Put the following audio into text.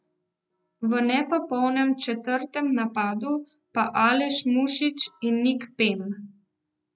V nepopolnem četrtem napadu pa Aleš Mušič in Nik Pem.